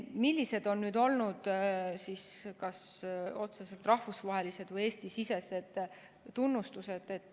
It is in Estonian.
Millised on olnud kas otseselt rahvusvahelised või Eesti-sisesed tunnustused?